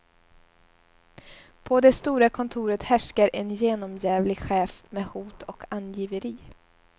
På det stora kontoret härskar en genomjävlig chef med hot och angiveri.